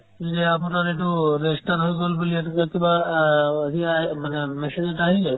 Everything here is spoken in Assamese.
যে আপোনাৰ এইটো register হৈ গ'ল বুলি এইটো কিবা আ সিগিলা আহে মানে message এটা আহি যায়